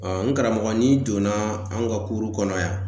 n karamɔgɔ n'i donna an ka kɔnɔ yan.